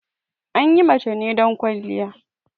Anyi mace ne don ƙwaliya